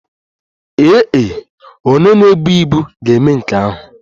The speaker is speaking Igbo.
Ee e, onye na-ebu ibu ga-eme nke ahụ.